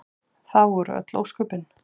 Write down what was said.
Það voru öll ósköpin.